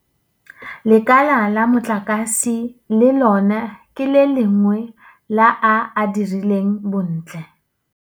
Lekala la motlakase le lona ke le lengwe la a a dirileng bontle.